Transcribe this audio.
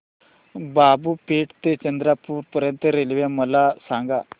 बाबूपेठ ते चंद्रपूर पर्यंत रेल्वे मला सांगा